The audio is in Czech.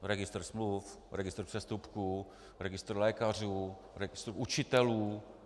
Registr smluv, registr přestupků, registr lékařů, registr učitelů.